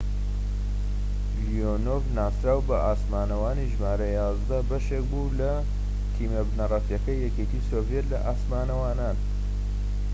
لیۆنۆڤ ناسراو بە ئاسمانەوانی ژمارە ١١ بەشێك بوو لە تیمە بنەڕەتیەکەی یەکێتی سۆڤیەت لە ئاسمانەوانان